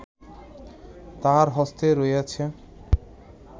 তাঁহার হস্তে রহিয়াছে